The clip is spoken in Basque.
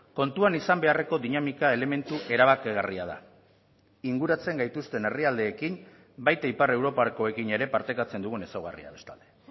kontuan izan beharreko dinamika elementu erabakigarria da inguratzen gaituzten herrialdeekin baita ipar europakoekin ere partekatzen dugun ezaugarria bestalde